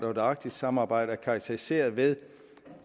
og det arktiske samarbejde er karakteriseret ved